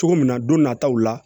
Cogo min na don nataw la